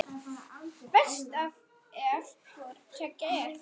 Verst ef hvoru tveggja er.